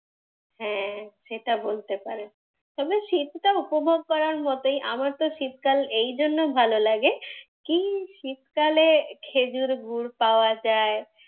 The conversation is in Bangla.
হ্যাঁ, সেটা বলতে পারেন। তবে শীতটা উপভোগ করার মতই আমার তো শীতকাল এই জন্যে ভালো লাগে কি, শীতকালে খেজুর গুঁড় পাওয়া যায়,